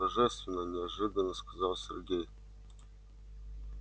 божественно неожиданно сказал сергей